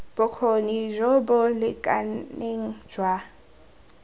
bokgoni jo bo lekaneng jwa